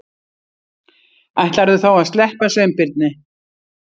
Ætlarðu þá að sleppa Sveinbirni?